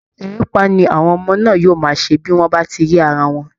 Erépá ni àwọn ọmọ náà yóò máa ṣe bí wọ́n bá ti rí ara wọn